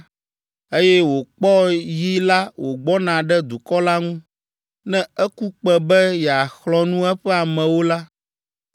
eye wòkpɔ yi la wògbɔna ɖe dukɔ la ŋu, ne eku kpẽ be yeaxlɔ̃ nu eƒe amewo la,